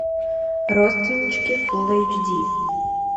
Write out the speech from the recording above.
родственнички фул эйч ди